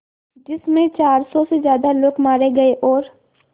जिस में चार सौ से ज़्यादा लोग मारे गए और